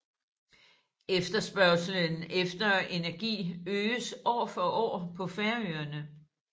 Efterspørgslen efter energi øges år for år på Færøerne